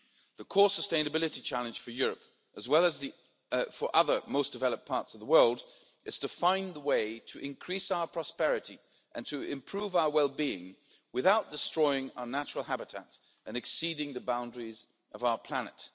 The core sustainability challenge for Europe, as well as for other most developed parts of the world, is to find the way to increase our prosperity and to improve our wellbeing without destroying our natural habitat and exceeding the boundaries of our planet.